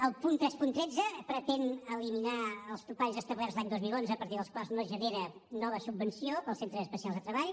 el punt tres cents i tretze pretén eliminar els topalls establerts l’any dos mil onze a partir dels quals no es genera nova subvenció per als centres especials de treball